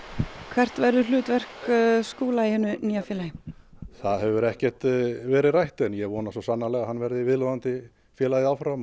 hvert verður hlutverk Skúla í hinu nýja félagi það hefur ekkert verið rætt en ég vona svo sannarlega að hann verði viðloðandi félagið áfram